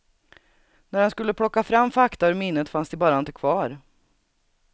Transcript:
När han skulle plocka fram fakta ur minnet fanns de bara inte kvar.